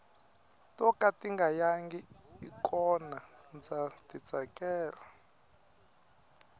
to ka tinga yangi i kona ndza ti tsakela